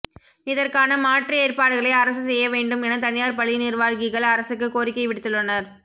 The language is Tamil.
இதற்கான மாற்று ஏற்பாடுகளை அரசு செய்ய வேண்டும் என தனியார் பள்ளி நிர்வாகிகள் அரசுக்கு கோரிக்கை விடுத்துள்ளனர்